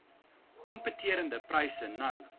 kompeterende pryse nou